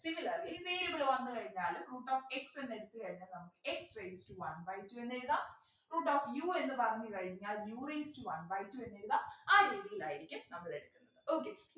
Similarly variable വന്നു കഴിഞ്ഞാലും root of x എന്നുടുത്തു കഴിഞ്ഞാൽ നമ്മക്ക് x raised to one by two എന്നെഴുതാം root of u എന്നു പറഞ്ഞു കഴിഞ്ഞാൽ u raised to one by two എന്നെഴുതാം ആ രീതിയിലായിരിക്കും നമ്മളെടുക്ക okay